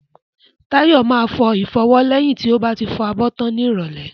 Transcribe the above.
Tayo máa fọ ìfọwọ́ lẹ́yìn tí ó bá ti fọ abọ́ tán ní ìrólẹ́